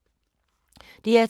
DR2